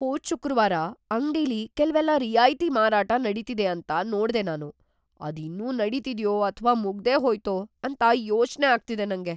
ಹೋದ್ ಶುಕ್ರವಾರ ಅಂಗ್ಡಿಲಿ ಕೆಲ್ವೆಲ್ಲ ರಿಯಾಯ್ತಿ ಮಾರಾಟ ನಡೀತಿದೆ ಅಂತ ನೋಡ್ದೆ ನಾನು. ಅದು ಇನ್ನೂ ನಡೀತಿದ್ಯೋ ಅಥ್ವಾ ಮುಗ್ದೇಹೋಯ್ತೋ ಅಂತ ಯೋಚ್ನೆ ಆಗ್ತಿದೆ ನಂಗೆ.